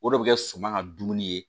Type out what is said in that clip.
O de bɛ kɛ suman ka dumuni ye